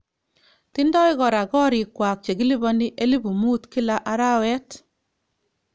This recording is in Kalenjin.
Tindoi kora korik kwak chekilipani elifu 5000 Kila arawet.